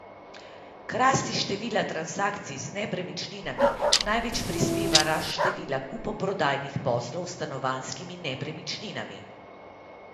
K rasti števila transakcij z nepremičninami največ prispeva rast števila kupoprodajnih poslov s stanovanjskimi nepremičninami.